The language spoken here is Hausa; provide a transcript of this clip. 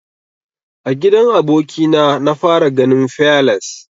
A gidan aboki na na fara ganin fearless.